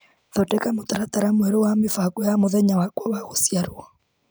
Thondeka mũtaratara mwerũ wa mĩbango ya mũthenya wakwa wa gũciarwo.